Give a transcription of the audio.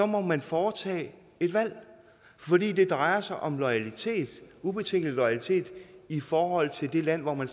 må man foretage et valg fordi det drejer sig om loyalitet ubetinget loyalitet i forhold til det land hvor man